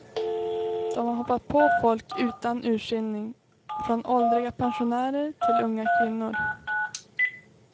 De har hoppat på folk utan urskillning, från åldriga pensionärer till unga kvinnor.